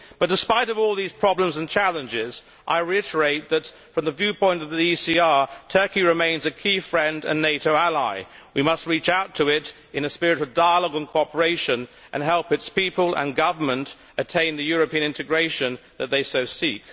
But despite all these problems and challenges, I reiterate that, from the viewpoint of the ECR, Turkey remains a key friend and NATO ally. We must reach out to it in a spirit of dialogue and cooperation and help its people and Government attain the European integration that they seek.